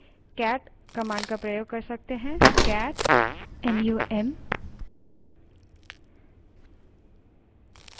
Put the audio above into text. cat num file name को autofill यानि अपने आप आने के लिए टैब दबायें और enter दबायें